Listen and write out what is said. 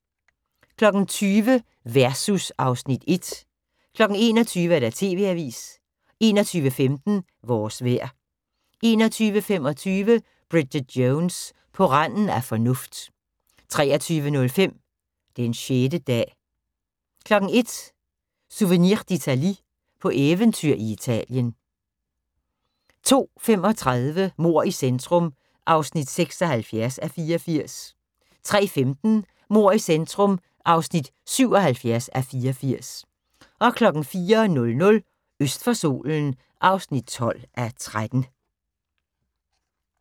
20:00: Versus (Afs. 1) 21:00: TV-avisen 21:15: Vores vejr 21:25: Bridget Jones: På randen af fornuft 23:05: Den 6. dag 01:00: Souvenir d'Italie – på eventyr i Italien 02:35: Mord i centrum (76:84) 03:15: Mord i centrum (77:84) 04:00: Øst for solen (12:13)